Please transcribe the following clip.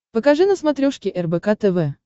покажи на смотрешке рбк тв